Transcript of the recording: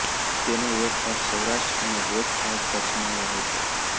તેનો એક ભાગ સૌરાષ્ટ્ર અને એક ભાગ કચ્છમાં વહે છે